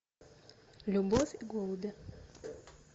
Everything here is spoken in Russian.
любовь и голуби